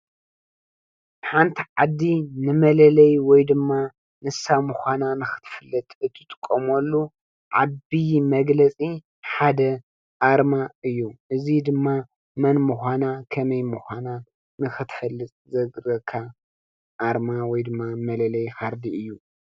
ሓንቲ ዓዲ ንመለለይ ወይድማ ንሳ ምኳና ንክትፍለጥ እትጥቀመሉ ዓብይ መግለጺ ሓደ ኣርማ እዩ፤ እዚ ድማ መን ምኳና ከመይ ምኳና ንክትፈልጥ ዝሕግዘካ ኣርማ ወይድማ መለለዪ ካርድ እዩ።